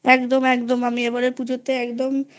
একদম একদম এবারের পুজোতে একদম